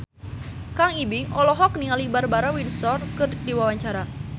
Kang Ibing olohok ningali Barbara Windsor keur diwawancara